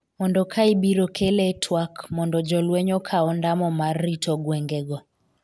mondo ka ibiro kele e twak mondo jolweny okaw ondamo mar rito gwenge go